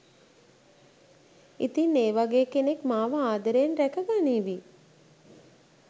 ඉතින් ඒ වගේ කෙනෙක් මාව ආදරයෙන් රැක ගනීවි